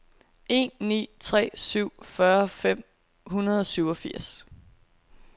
en ni tre syv fyrre fem hundrede og syvogfirs